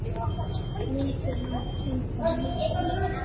Myndi hann endast?